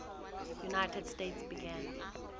united states began